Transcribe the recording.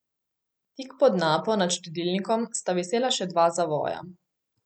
Tik pod napo nad štedilnikom sta visela še dva zavoja.